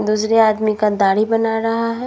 दूसरे आदमी का दाढ़ी बना रहा है।